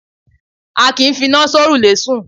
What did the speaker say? á kí ń fí iná sọ̀rúlẹ sùn